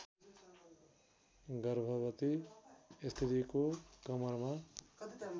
गर्भवती स्त्रीको कमरमा